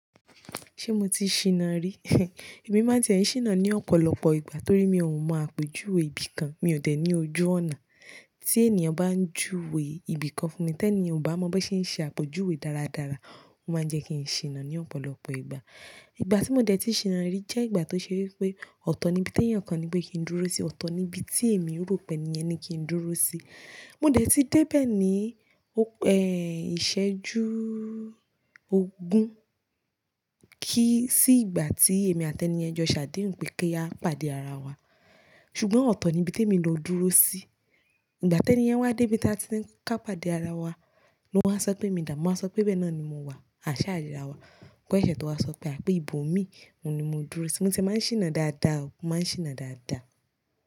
Ṣé mo ti ṣìnà rí? Èmi má tie ń ṣìnà ní ọ̀pọ̀lọpọ̀ ìgbà torí mi ò mọ àpèjúwe ibìkan, mi ò dẹ̀ ní ojú ọ̀nà. Tí ènìyàn bá ń júwe ibìkan fún mi, tẹ́ni ò bá mọ bí ṣe ń ṣe àpèjúwe dáradára, ó má ń jẹ́ kí n ṣìnà ní ọ̀pọ̀lọpọ̀ ìgbà. Ìgbà tí mo dẹ̀ ti ṣìnà rí jẹ́ ìgbà tó ṣe wípé ọ̀tọ̀ níbi tí ènìyàn kan ní pé kí n dúró sí, ọ̀tọ̀ níbi tí èmi rò pé ènìyàn ní kí n dúró sí. Mo dẹ̀ ti dé bẹ́ẹ̀ ní, ẹ́, ìṣẹ́jú ogún kí i sí ìgbà tí èmi àti ẹni ẹ jọ ṣàdéhùn pé kí a pàdé ara wa. Ṣùgbọ́n ọ̀tọ̀ níbi tí èmi lọ dúró sí. Ìgbà tí ẹni yẹn wá dé ibi tí a ti ń ká pàdé ara wa ló wá sọ pé mi dà? Mo á sọ pé bẹ́ẹ̀ náà ni mo wà, àṣà ayé ara wa. Kọ́ iṣẹ́ tó wá sọ pé àpé ìbò mí, òun ni mo dúró sí. Mo ti máa ń ṣìnà dáadáa o, mo má ń ṣìnà dáadáa.